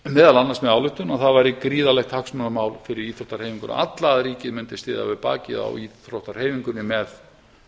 meðal annars með ályktun að það væri gríðarlegt hagsmunamál fyrir íþróttahreyfinguna alla að ríkið mundi styðja við bakið á íþróttahreyfingunni með